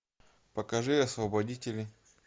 покажи освободители